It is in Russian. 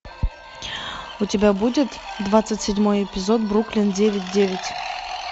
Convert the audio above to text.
у тебя будет двадцать седьмой эпизод бруклин девять девять